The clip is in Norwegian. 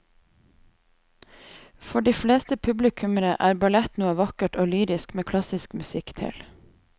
For de fleste publikummere er ballett noe vakkert og lyrisk med klassisk musikk til.